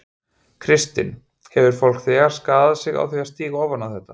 Kristinn: Hefur fólk þegar skaðað sig á því að stíga ofan í þetta?